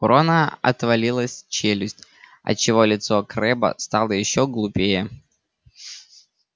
у рона отвалилась челюсть отчего лицо крэбба стало ещё глупее